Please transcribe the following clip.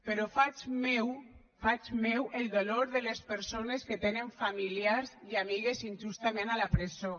però faig meu faig meu el dolor de les persones que tenen familiars i amigues injustament a la presó